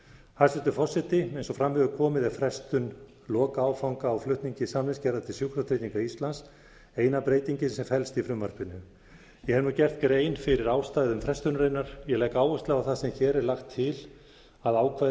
hæstvirtur forseti eins og fram hefur komið er frestun lokaáfanga á flutningi samningsgerðar til sjúkratrygginga íslands eina breytingin sem felst í frumvarpinu ég hef nú gert grein fyrir ástæðum frestunarinnar ég legg áherslu á að það sem hér er lagt til að ákvæði